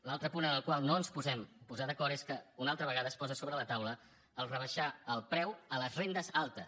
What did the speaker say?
l’altre punt en el qual no ens podem posar d’acord és que una altra vegada es posa sobre la taula rebaixar el preu a les rendes altes